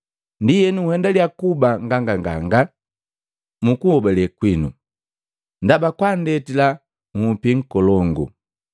Ndienu nhendalia kuba nganganganga mu kuhobale kwinu, ndaba kwanndetila hupi ngolongu.